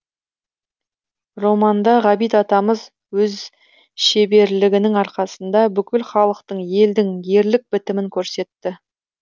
романда ғабит атамыз өз шеберлігінің арқасында бүкіл халықтың елдің ерлік бітімін көрсетті